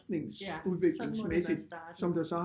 Ja sådan må det være startet